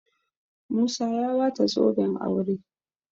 musa ya bata zoben aure